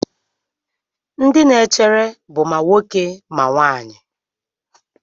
Ndị na-echere bụ ma nwoke ma nwanyị.